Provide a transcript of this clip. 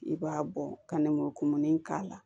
I b'a bɔ ka nɛnmugu kumuni k'a la